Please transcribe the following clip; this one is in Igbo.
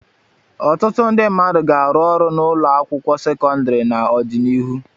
Ọtụtụ ndị mmadụ ga-arụ ọrụ na ụlọ akwụkwọ sekọndrị n'ọdịnihu.